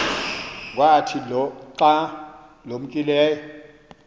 kwathi xa limkayo